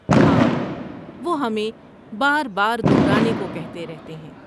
ہاں، وہ ہمیں بار بار دہرانے کو کہتے رہتے ہیں۔